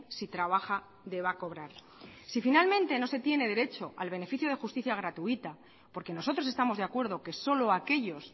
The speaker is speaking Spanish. si trabaja deba cobrar si finalmente no se tiene derecho al beneficio de justicia gratuita porque nosotros estamos de acuerdo que solo aquellos